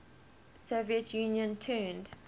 soviet union turned